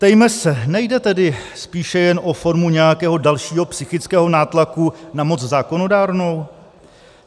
Ptejme se, nejde tedy spíše jen o formu nějakého dalšího psychického nátlaku na moc zákonodárnou?